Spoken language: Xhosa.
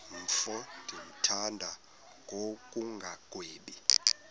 mfo ndimthanda ngokungagwebi